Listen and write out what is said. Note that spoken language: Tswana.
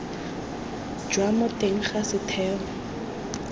jwa mo teng ga setheo